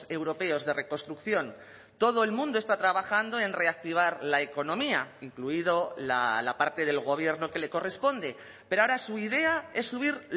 europeos de reconstrucción todo el mundo está trabajando en reactivar la economía incluido la parte del gobierno que le corresponde pero ahora su idea es subir